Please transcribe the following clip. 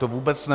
To vůbec ne.